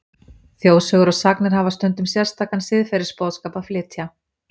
Þjóðsögur og sagnir hafa stundum sérstakan siðferðisboðskap að flytja.